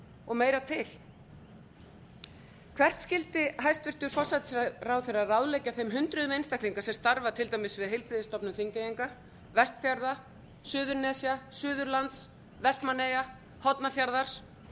og meira til hvert skyldi hæstvirtur forsætisráðherra ráðleggja þeim hundruðum einstaklinga sem starfa til dæmis við heilbrigðisstofnun þingeyinga vestfjarða suðurnesja suðurlands vestmannaeyja hornafjarðar